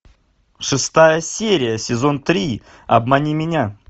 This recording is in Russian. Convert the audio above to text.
шестая серия сезон три обмани меня